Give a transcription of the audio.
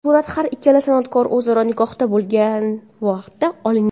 Surat har ikkala san’atkor o‘zaro nikohda bo‘lgan vaqtda olingan.